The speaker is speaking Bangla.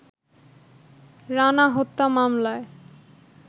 রানা হত্যা মামলায়